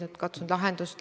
Austatud istungi juhataja!